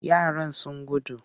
Yaran sun gudu.